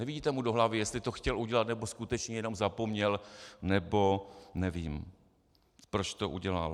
Nevidíte mu do hlavy, jestli to chtěl udělat, nebo skutečně jenom zapomněl, nebo nevím, proč to udělal.